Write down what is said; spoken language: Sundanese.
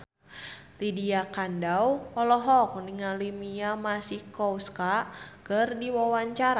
Lydia Kandou olohok ningali Mia Masikowska keur diwawancara